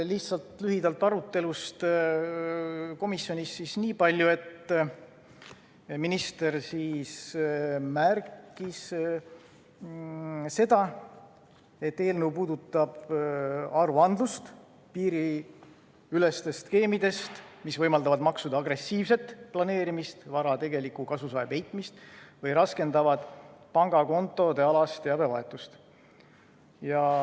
Lihtsalt lühidalt arutelust komisjonis niipalju, et minister märkis, et eelnõu puudutab aruandlust piiriüleste skeemide puhul, mis võimaldavad maksude agressiivset planeerimist, vara tegeliku kasusaaja peitmist või raskendavad pangakontodealast teabevahetust.